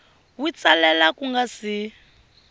wi tsalela ku nga si